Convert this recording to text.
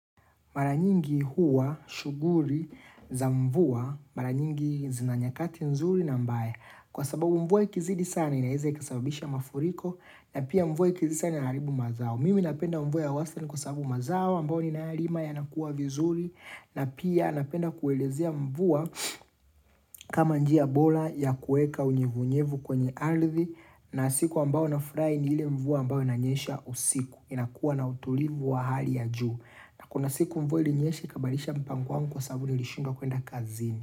Mara nyingi huwa shughuli za mvua, mara nyingi zina nyakati nzuri na mbaya. Kwa sababu mvua ikizidi sana inaeza ikasababisha mafuriko na pia mvua ikizidi sana inaaribu mazao. Mimi napenda mvua ya wasili kwa sababu mazao ambayo ninayolima yanakua vizuri na pia napenda kuelezea mvua kama njia bora ya kueka unyevunyevu kwenye ardhi na siku ambao nafurahi ni ile mvua ambao inanyesha usiku. Inakuwa na utulivu wa hali ya juu na kuna siku mvua ilinyesha ikabalisha mpango kwa sababu nilishindwa kuenda kazini.